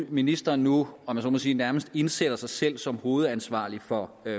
at ministeren nu om jeg så må sige nærmest indsætter sig selv som hovedansvarlig for